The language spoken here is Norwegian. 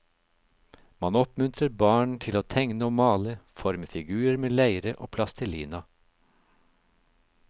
Man oppmuntrer barn til å tegne og male, forme figurer med leire og plastelina.